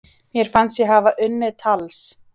Mér fannst ég hafa unnið tals